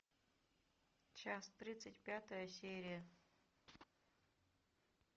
час тридцать пятая серия